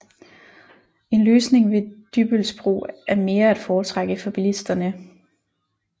En løsning ved Dybbølsbro er mere at foretrække for bilisterne